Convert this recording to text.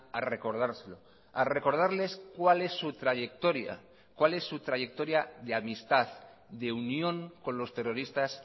a recordárselo a recordarles cuál es su trayectoria cuál es su trayectoria de amistad de unión con los terroristas